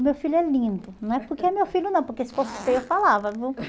O meu filho é lindo, não é porque é meu filho não, porque se fosse feio eu falava, viu?